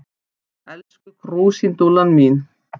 Elsku krúsindúllan mín.